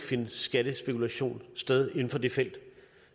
finde skattespekulation sted inden for det felt